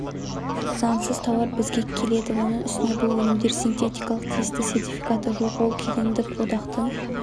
заңсыз тауар бізге келеді оның үстіне бұл өнімдер синтетикалық тиісті сертификаты жоқ ол кедендік одақтың